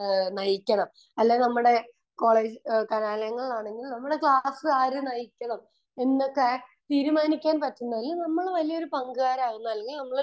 രാജ്യത്തെ നയിക്കാൻ അല്ലെങ്കിൽ ക്ലാസ് ആണെങ്കിൽ നമ്മളെ ക്ലാസ് ആര് നയിക്കണം എന്ന് തീരുമാനിക്കാൻ പറ്റുന്നതിൽ നമ്മള് വലിയൊരു പങ്കാളിയാവുന്നത്